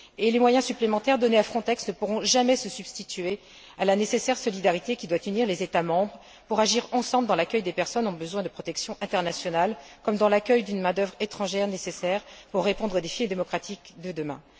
Les moyens supplémentaires donnés à Frontex ne pourront jamais se substituer à la nécessaire solidarité qui doit unir les États membres pour agir ensemble dans l'accueil des personnes qui ont besoin d'une protection internationale, comme dans l'accueil d'une main d'œuvre étrangère nécessaire pour répondre aux défis démocratiques de demain.